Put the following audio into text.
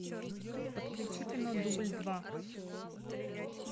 подключи кино дубль два